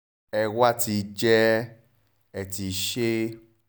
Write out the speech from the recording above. ẹ ẹ́ wá ti jẹ́ ẹ̀ ẹ́ ti ṣe